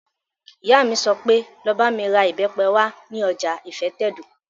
Ìyá mi sọ pé, 'Lọ bá mi ra ìbẹ́pẹ wá ní ọjà ìfẹ́tẹ̀dó!